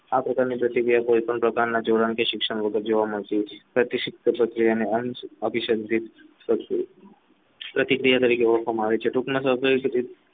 આ પ્રકારની પ્રતિક્રિયા કોઈ પણ પ્રકારની જોડાણથી શિક્ષણ પણ અભિષેકથી પ્રતિક્રિયા તરીકે ઓળખવામાં આવે છે